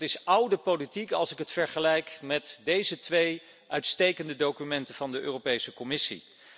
Dat is oude politiek, als ik het vergelijk met deze twee uitstekende documenten van de Europese Commissie.